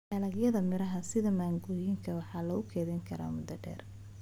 Dalagyada miraha sida mangooyinka waxaa lagu kaydin karaa muddo dheer.